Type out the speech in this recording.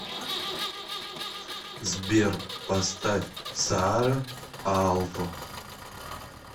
сбер поставь саара аалто